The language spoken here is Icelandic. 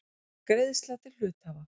Greiðsla til hluthafa.